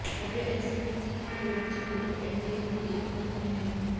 खबरें ऐसी भी थी कि हरिवंश को लेकर एनडीए में ही एकमत नहीं है